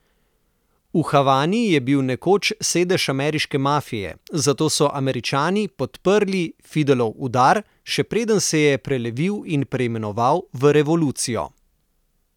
V Havani je bil nekoč sedež ameriške mafije, zato so Američani podprli Fidelov udar, še preden se je prelevil in preimenoval v revolucijo.